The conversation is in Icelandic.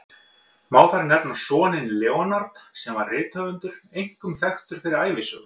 Má þar nefna soninn Leonard, sem var rithöfundur, einkum þekktur fyrir ævisögur.